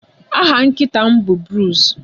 Aha nkịta m bụ Bruce